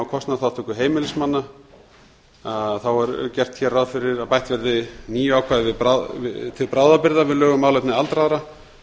kostnaðarþátttöku heimilismanna er hér gert ráð fyrir að bætt verði nýju ákvæði til bráðabirgða við lög um málefni aldraðra